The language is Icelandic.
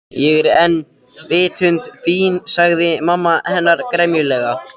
Ég er ekki vitund fín sagði mamma hennar gremjulega.